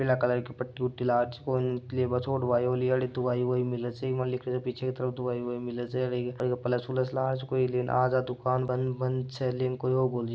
पिला कलर की पटी लाग री छे एवं छोड़ बा दवाई दवाई सब मिलने पीछे की तरफ दवाय मिले छे प्लस वाल्स आज या दुकान बंद छे कोई--